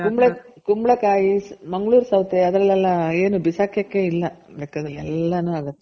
ಕುಂಬಳ ಕಾಯಿ , ಮಂಗಳೂರ್ ಸೌತೆ ಅದರಲ್ಲೆಲ್ಲ ಏನು ಬಿಸಾಕಕೆ ಇಲ್ಲ ಲೆಕ್ಕದಲ್ಲಿ ಎಲ್ಲಾನು ಆಗುತ್ತೆ.